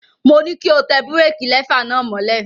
Mo ní kí o tẹ búrékí lẹfà náà mọ́lẹ̀.